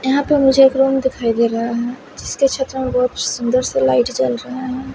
यहां पर मुझे एक रूम दिखाई दे रहा है जिसके छत्र में बहुत सुंदर से लाइट चल रही है।